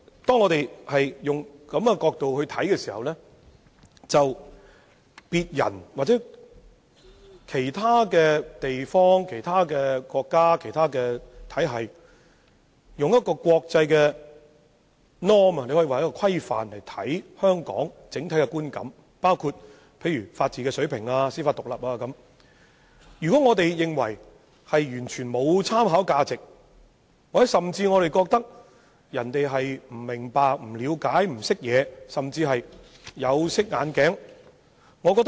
當我們懷有這種看法時，對於別人或其他地方、國家、體系以國際規範對香港建立的整體觀感，包括本地的法治水平、司法獨立等，我們可能會認為完全沒有參考價值，甚至認為人們不明白、不了解、不識貨或甚至是戴了有色眼鏡。